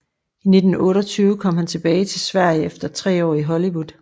I 1928 kom han tilbage til Sverige efter tre år i Hollywood